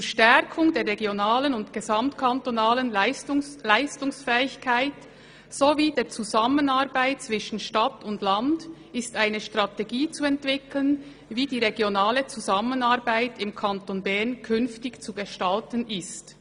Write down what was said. «Zur Stärkung der regionalen und gesamtkantonalen Leistungsfähigkeit sowie der Zusammenarbeit zwischen Stadt und Land ist eine Strategie zu entwickeln, wie die regionale Zusammenarbeit im Kanton Bern zukünftig zu gestalten ist.